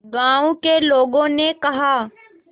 गांव के लोगों ने कहा